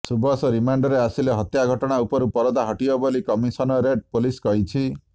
ସୁବସ ରିମାଣ୍ଡରେ ଆସିଲେ ହତ୍ୟା ଘଟଣା ଉପରୁ ପରଦା ହଟିବ ବୋଲି କମିଶନରେଟ ପାଲିସ କହିଛି